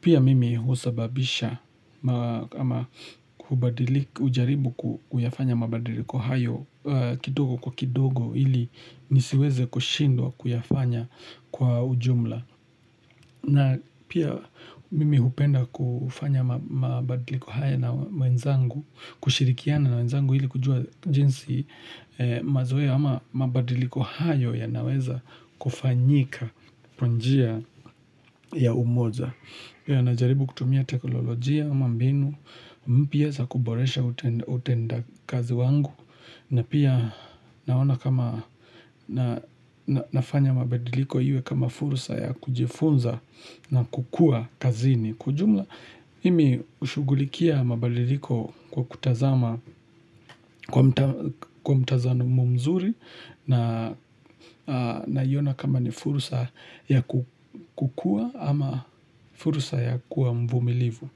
Pia mimi husababisha ama ujaribu kuyafanya mabadiliko hayo kidogo kwa kidogo ili nisiweze kushindwa kuyafanya kwa ujumla. Na pia mimi hupenda kufanya mabadiliko haya na wenzangu, kushirikiana na wenzangu ili kujua jinsi mazoea ama mabadiliko hayo ya naweza kufanyika kwa njia ya umoja. Na jaribu kutumia teknolojia ama mbinu, mpia za kuboresha utenda kazi wangu na pia naona kama nafanya mabadiliko iwe kama furusa ya kujifunza na kukua kazini Kiijumla, mimi hushugulikia mabadiliko kwa kutazama kwa mtazamo mzuri naiona kama ni furusa ya kukua ama furusa ya kuwa mvumilivu.